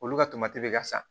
Olu ka bɛ ka sa